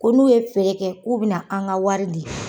Ko n'u ye feere kɛ k'u bɛna an ka wari di.